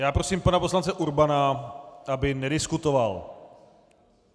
Já prosím pana poslance Urbana, aby nediskutoval.